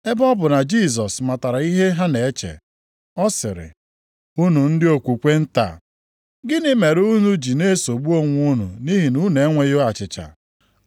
Ebe ọ bụ na Jisọs matara ihe ha na-eche, ọ sịrị, “Unu ndị okwukwe nta! Gịnị mere unu ji na-esogbu onwe unu nʼihi na unu enweghị achịcha?